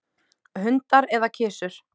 Hundar eða kisur?